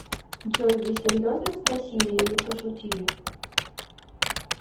джой вы серьезно спросили или пошутили